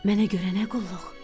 Mənə görə nə qulluq?